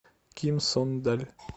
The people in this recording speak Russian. ким сон даль